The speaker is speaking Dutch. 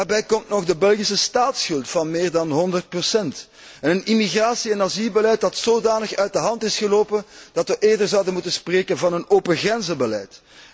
Daarbij komt nog de Belgische staatsschuld van meer dan 100 en een immigratie en asielbeleid dat zodanig uit de hand is gelopen dat we eerder zouden moeten spreken van een open grenzenbeleid.